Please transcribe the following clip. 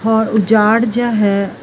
ਹੋਰ ਉਜਾੜ ਜਿਹਾ ਹੈ।